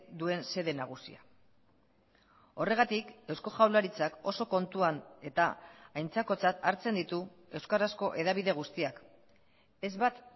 duen xede nagusia horregatik eusko jaurlaritzak oso kontuan eta aintzakotzat hartzen ditu euskarazko hedabide guztiak ez bat